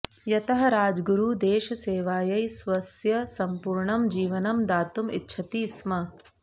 यतः राजगुरुः देशसेवायै स्वस्य सम्पूर्णं जीवनं दातुम् इच्छति स्म